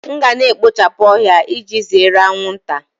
M ga na-ekpochapụ ohia iji zere anwụnta